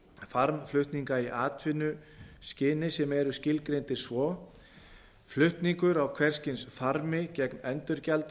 farmflutninga í atvinnuskyni sem eru skilgreindir svo flutningur á hvers kyns farmi gegn endurgjaldi